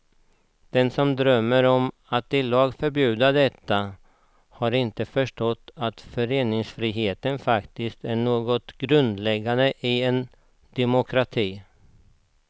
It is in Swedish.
De som drömmer om att i lag förbjuda detta har inte förstått att föreningsfriheten faktiskt är något helt grundläggande i en demokrati.